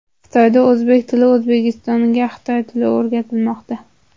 Xitoyda o‘zbek tili, O‘zbekistonda xitoy tili o‘rgatilmoqda.